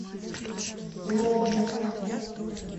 лобня